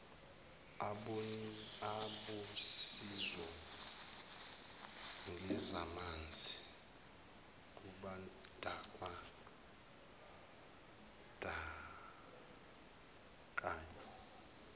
abosizo ngezamanzi kubandakanywa